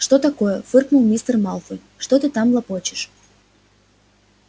что такое фыркнул мистер малфой что ты там лопочешь